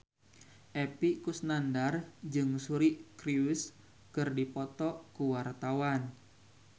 Epy Kusnandar jeung Suri Cruise keur dipoto ku wartawan